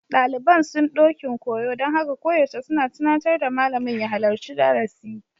Daliban sun ɗokin koyo, don haka koyaushe suna tunatar da malamin ya halarci darasi.